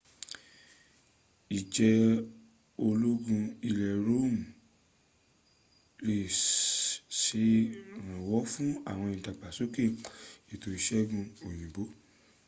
ìjẹ́ ológun ilẹ̀ roman sèrànwọ́ fún ìdàgbàsóke ètò ìsègùn òyìnbó